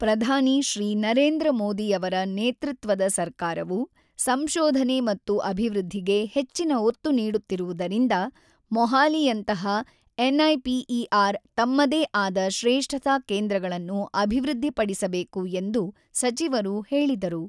ಪ್ರಧಾನಿ ಶ್ರೀ ನರೇಂದ್ರ ಮೋದಿಯವರ ನೇತೃತ್ವದ ಸರ್ಕಾರವು ಸಂಶೋಧನೆ ಮತ್ತು ಅಭಿವೃದ್ಧಿಗೆ ಹೆಚ್ಚಿನ ಒತ್ತು ನೀಡುತ್ತಿರುವುದರಿಂದ ಮೊಹಾಲಿಯಂತಹ ಎನ್ಐಪಿಇಆರ್ ತಮ್ಮದೇ ಆದ ಶ್ರೇಷ್ಠತಾ ಕೇಂದ್ರಗಳನ್ನು ಅಭಿವೃದ್ಧಿಪಡಿಸಬೇಕು ಎಂದು ಸಚಿವರು ಹೇಳಿದರು.